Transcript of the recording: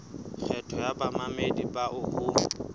kgetho ya bamamedi bao ho